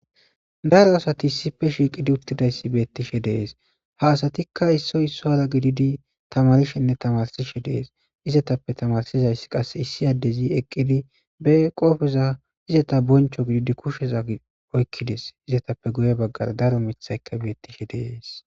Daro asati issippe shiiqqidi uuttidaysi bettishe dees haa asatikka issoy issuwara gididi tamaarishenne tamaarsishe dees izetappe tamaarisizayssi qase issi addezi eqidi be qopeza izzetta boncco bidi kushsheza oykides izetappe guye baggara daro miiththaykka beettishe dees